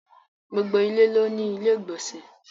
Gbogbo ilẹ̀ ló ní ilẹ̀-ìgbọ̀nsẹ̀.